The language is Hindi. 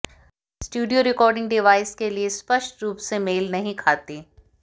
स्टूडियो रिकॉर्डिंग डिवाइस के लिए स्पष्ट रूप से मेल नहीं खाती